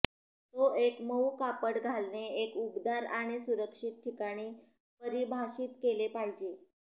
तो एक मऊ कापड घालणे एक उबदार आणि सुरक्षित ठिकाणी परिभाषित केले पाहिजे